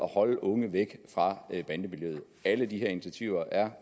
holde unge væk fra bandemiljøet alle de her initiativer er